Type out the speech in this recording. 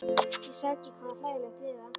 Ég sá ekki hvað var hlægilegt við það.